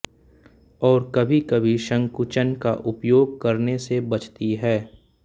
और कभीकभी संकुचन का उपयोग करने से बचती है